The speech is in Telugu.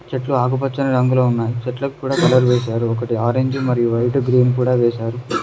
చెట్లు ఆకుపచ్చని రంగులో వున్నాయి చెట్లకూడా కలర్ వేశారు ఒకటి ఆరంజూ మరియు వైటు గ్రీను కూడా వేశారు.